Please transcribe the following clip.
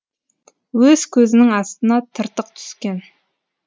өз көзінің астына тыртық түскен